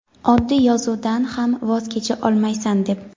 oddiy yozuvdan ham voz kecha olmaysan deb.